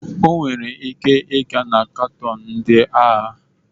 Ọ nwere ike ịga na kanton ndị agha?